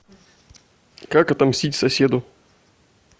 как отомстить соседу